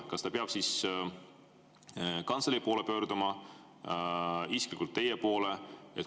Kas ta peab siis kantselei poole pöörduma või isiklikult teie poole?